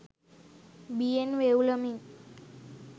බියෙන් වෙව්ලමින්